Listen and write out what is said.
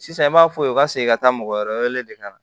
Sisan i b'a fɔ u ka segin ka taa mɔgɔ wɛrɛ wele de ka na